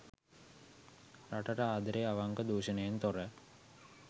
රටට ආදරේ අවංක දුෂණයෙන් තොර